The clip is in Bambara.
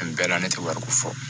Nin bɛɛ la ne tɛ wari ko fɔ